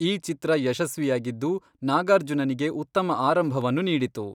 ಈ ಚಿತ್ರ ಯಶಸ್ವಿಯಾಗಿದ್ದು, ನಾಗಾರ್ಜುನನಿಗೆ ಉತ್ತಮ ಆರಂಭವನ್ನು ನೀಡಿತು.